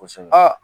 Kosɛbɛ